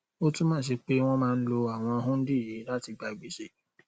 ó túmọ sí pé wọn máa ń lo àwọn hundí yìí láti gba gbèsè